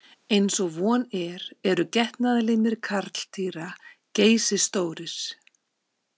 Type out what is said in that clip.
Eins og von er eru getnaðarlimir karldýra geysistórir.